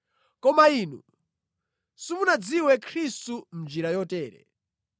Koma inu simunadziwe Khristu mʼnjira yotere.